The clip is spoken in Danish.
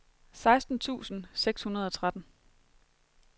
seksten tusind seks hundrede og tretten